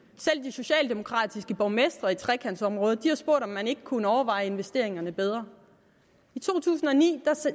socialdemokratiske borgmestre i trekantområdet har spurgt om man ikke kunne overveje investeringerne bedre i to tusind og ni